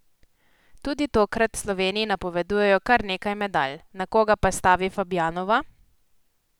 Tudi tokrat Sloveniji napovedujejo kar nekaj medalj, na koga pa stavi Fabjanova?